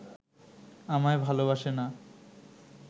আমায় ভালোবাসে না